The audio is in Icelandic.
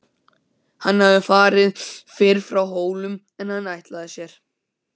Hann hafði farið fyrr frá Hólum en hann ætlaði sér.